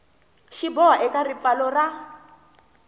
xi boha eka ripfalo ra